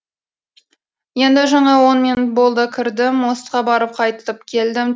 енді жаңа он минут болды кірдім мостқа барып қайтып келдім